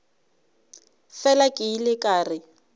fela ke ile ka re